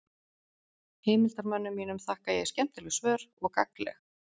heimildarmönnum mínum þakka ég skemmtileg svör og gagnleg